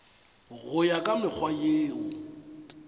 go ya ka mekgwa yeo